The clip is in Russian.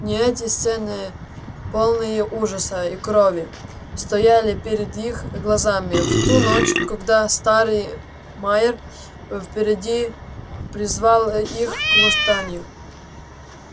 не эти сцены полные ужаса и крови стояли пред их глазами в ту ночь когда старый майер впереди призвал их к восстанию